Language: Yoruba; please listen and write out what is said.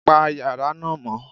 Pa yàrá náà mọ́.